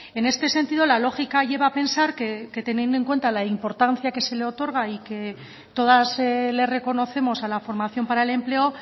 en este sentido la lógica lleva a pensar que teniendo en cuenta la importancia que se le otorga y que todas le reconocemos a la formación para el empleo